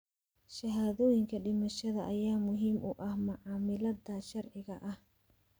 Shahaadooyinka dhimashada ayaa muhiim u ah macaamilada sharciga ah.